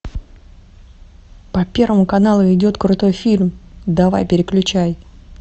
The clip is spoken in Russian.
по первому каналу идет крутой фильм давай переключай